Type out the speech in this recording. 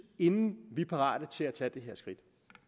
inden vi er parate til at tage